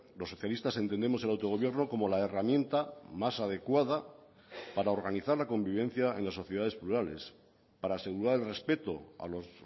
los socialistas entendemos el autogobierno como la herramienta más adecuada para organizar la convivencia en las sociedades plurales para asegurar el respeto a los